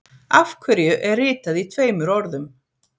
Af hverju er ritað í tveimur orðum.